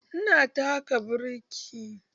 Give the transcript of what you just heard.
Ina taka birki